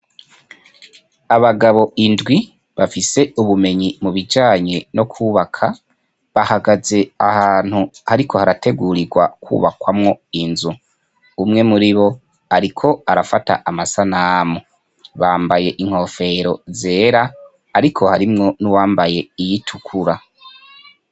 Abagabo indwi, bafise ubumenyi mu bijanye no kwubaka, bahagaze ahantu hariko harategurirwa kwubakwamwo inzu. Umwe muri bo, ariko arafata amasanamu. Bambaye inkofero zera, ariko harimwo n'uwambaye iyitukura.